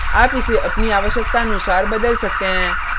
आप इसे अपनी आवश्कतानुसार बदल सकते हैं